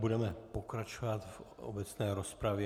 Budeme pokračovat v obecné rozpravě.